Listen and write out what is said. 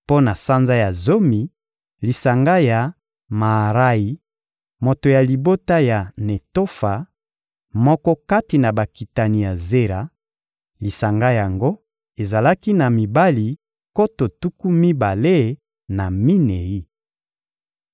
Mpo na sanza ya zomi: lisanga ya Maarayi, moto ya libota ya Netofa, moko kati na bakitani ya Zera; lisanga yango ezalaki na mibali nkoto tuku mibale na minei.